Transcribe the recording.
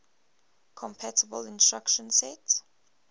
compatible instruction set